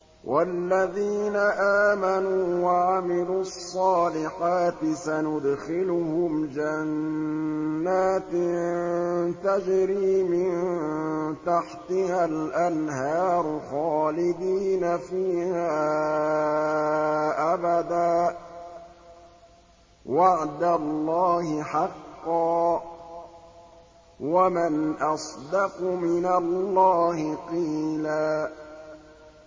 وَالَّذِينَ آمَنُوا وَعَمِلُوا الصَّالِحَاتِ سَنُدْخِلُهُمْ جَنَّاتٍ تَجْرِي مِن تَحْتِهَا الْأَنْهَارُ خَالِدِينَ فِيهَا أَبَدًا ۖ وَعْدَ اللَّهِ حَقًّا ۚ وَمَنْ أَصْدَقُ مِنَ اللَّهِ قِيلًا